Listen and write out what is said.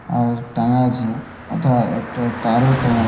আর টাঙা আছে ওথায় একটা তারও টাঙা --